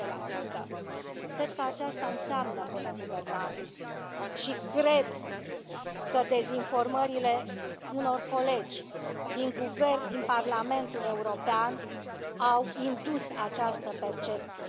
10 Cred că aceasta înseamnă bună guvernare și cred că dezinformările unor colegi din Parlamentul European au indus această percepție.